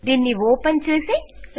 దీన్ని ఓపెన్ చేద్దాం